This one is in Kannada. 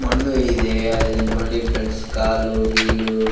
ಮಣ್ಣು ಇದೆ ಅದು ಇಲ್ ನೋಡಿ ಫ್ರೆಂಡ್ಸ್ ಕಾಲು ಗೀಲು --